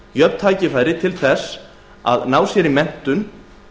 jöfn tækifæri til að ná sér í menntun